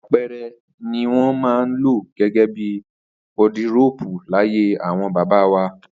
Apẹ̀rẹ̀ ni wọn maa ń lo gégé bi wọdiróópù, laye awon baba wà